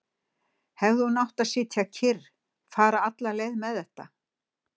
Hefði hún átt að sitja kyrr, fara alla leið með þetta?